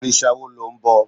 òrìṣà wo lo nbọ